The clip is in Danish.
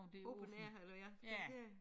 Ja det mere eller ja for det ikke